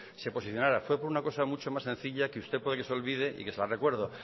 se posicionara fue por una cosa mucho más sencilla que usted puede que se olvide y que se la recuerdo